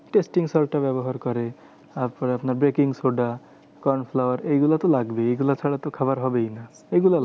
Testing salt টা ব্যবহার করে তারপর আপনার baking soda, corn flour এইগুলোতো লাগবেই। এগুলো ছাড়া তো খাবার হবেই না। এইগুলো